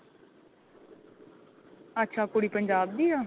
ਅੱਛਾ ਕੁੜੀ ਪੰਜਾਬ ਦੀ ਆ